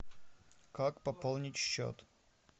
как пополнить счет